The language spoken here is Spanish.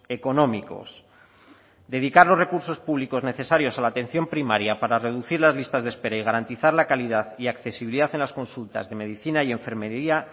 económicos dedicar los recursos públicos necesarios a la atención primaria para reducir las listas de espera y garantizar la calidad y accesibilidad en las consultas de medicina y enfermería